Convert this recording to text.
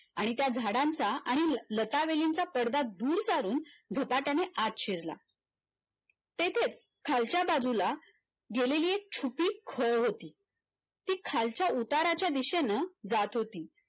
आणि त्या झाडांचा आणि लतावेलीचा पडदा दुर काढून झपाट्याने आत शिरला तेथे खालच्या बाजूला गेलेली एक छोटी खोड होती ती खालच्या उताराच्या दिशेने जात होती